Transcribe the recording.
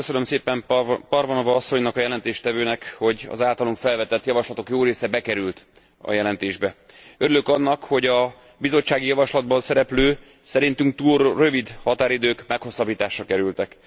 Köszönöm szépen Parvanova asszonynak, a jelentéstevőnek, hogy az általunk felvetett javaslatok jó része bekerült a jelentésbe. Örülök annak, hogy a bizottsági javaslatban szereplő, szerintünk túl rövid határidők meghosszabbításra kerültek.